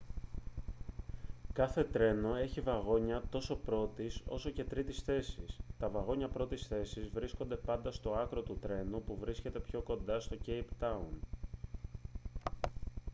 κάθε τρένο έχει βαγόνια τόσο πρώτης όσο και τρίτης θέσης· τα βαγόνια πρώτης θέσης βρίσκονται πάντα στο άκρο του τρένου που βρίσκεται πιο κοντά στο κέιπ τάουν